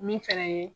Min fɛnɛ ye